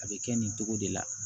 A bɛ kɛ nin cogo de la